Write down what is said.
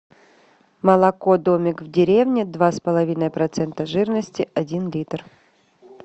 молоко домик в деревне два с половиной процента жирности один литр